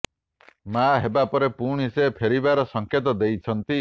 ମା ହେବା ପରେ ପୁଣି ସେ ଫେରିବାର ସଙ୍କେତ ଦେଇଛନ୍ତି